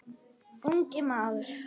Ungi maður